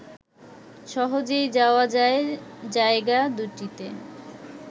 সহজেই যাওয়া যায় জায়গা দুটিতে